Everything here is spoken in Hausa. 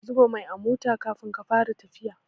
Ka zuba mai a mota Kafin ka Fara tafiya